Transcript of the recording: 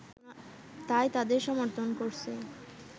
তাই তাদের সমর্থন করছি